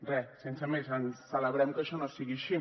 res sense més celebrem que això no sigui així